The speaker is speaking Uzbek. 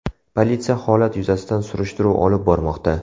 Politsiya holat yuzasidan surishtiruv olib bormoqda.